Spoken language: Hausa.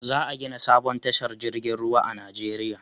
Za a gina sabon tashar jirgin ruwa a Najeriya